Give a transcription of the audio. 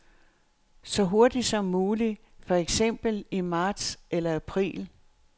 Så hurtigt som muligt, for eksempel i marts eller april.